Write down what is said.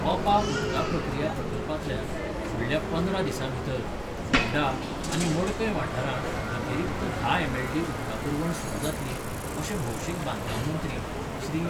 ओपा उदका प्रक्रिया प्रकल्पातल्यान फुडल्या पंदरा दिसाभितर फोंडा आनी मडकय वाठारांक अतिरिक्त धा एमएलडी उदका पूरवण सुरू जातली, अशें भौशीक बांदकाममंत्री श्री.